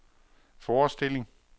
forestilling